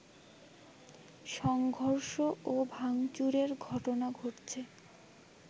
সংঘর্ষ ও ভাংচুরের ঘটনা ঘটছে